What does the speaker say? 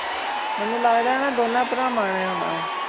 ਮੇਨੂ ਲਗਦਾ ਆਯ ਇਨਾਂ ਦੋਨਾਂ ਪ੍ਰਵਾਨ ਨੇ ਆਉਣਾ ਵਾ